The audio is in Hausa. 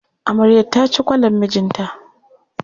Amaryar ta ci kwalar mijinta.